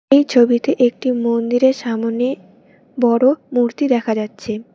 এই ছবিতে একটি মন্দিরের সামনে বড় মূর্তি দেখা যাচ্ছে।